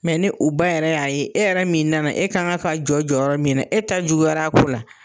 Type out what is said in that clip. Mɛ ni u ba yɛrɛ y'a ye , e yɛrɛ min nana e kan ka ka jɔ jɔyɔrɔ min na ,e ta juguyara a ko la